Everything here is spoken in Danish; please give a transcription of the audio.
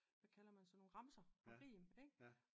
Hvad kalder man sådan nogle? Remser og rim ik